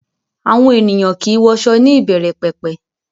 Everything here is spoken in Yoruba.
Àwọn ènìyàn kìí wọṣọ ní ìbẹ̀rẹ̀pẹ̀pẹ̀